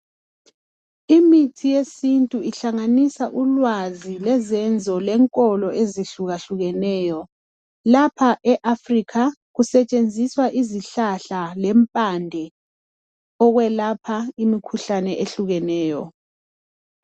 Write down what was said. Imithi yesintu uhlanganisa ulwazi lezenzo lenkolo ezihlukahlukeneyo. Lapha eAfrica kusetshenziswa izihlahla lempande ukwelapha imikhuhlane ehlukeneyo.